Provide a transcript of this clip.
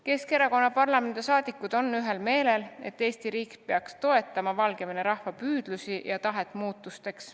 Keskerakonna parlamendiliikmed on ühel meelel, et Eesti riik peaks toetama Valgevene rahva püüdlusi ja tahet muutusi läbi viia.